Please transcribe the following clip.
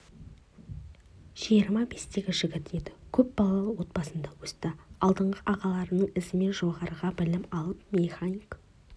жиырма бестегі жігіт еді көп балалы отбасында өсті алдыңғы ағаларының ізімен жоғары білім алып механик